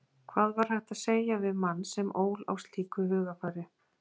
Hvað var hægt að segja við mann sem ól á slíku hugarfari?